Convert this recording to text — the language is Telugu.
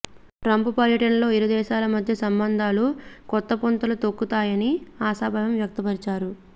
ట్రంప్ పర్యటనతో ఇరుదేశాల మధ్య సంబంధాలు కొత్తపుంతలు తొక్కుతాయని ఆశాభావం వ్యక్తపరిచారు